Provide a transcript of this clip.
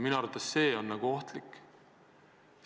Minu arvates on see ohtlik.